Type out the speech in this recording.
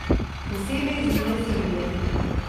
Posebej zunaj Srbije.